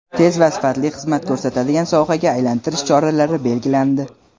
tez va sifatli xizmat ko‘rsatadigan sohaga aylantirish choralari belgilandi.